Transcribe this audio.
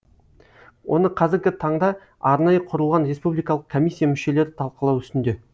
оны қазіргі таңда арнайы құрылған республикалық коммисия мүшелері талқылау үстінде